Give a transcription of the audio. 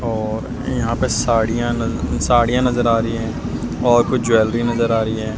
और यहां पे साड़ियां न साड़ियां नजर आ रही है और कुछ ज्वेलरी नजर आ रही है।